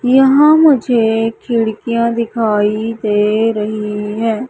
यहां मुझे खिड़कियां दिखाई दे रही हैं।